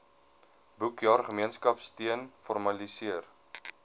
boekjaar gemeenskapsteun formaliseer